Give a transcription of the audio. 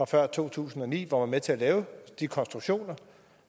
før to tusind og ni hvor man var med til at lave de konstruktioner